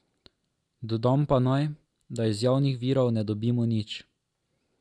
Dodam pa naj, da iz javnih virov ne dobimo nič.